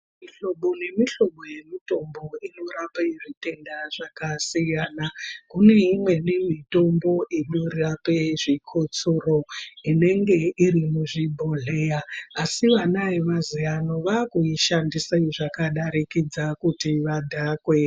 Mihlobo nemihlobo yemitombo inorape zvitendazvakasiyana. Kune imweni inorape zvikhotsoso, inenge iri muzvibhodhleya, asi vana vemaziya ano vaakuishandise zvakadarikidza kuti vadhakwe.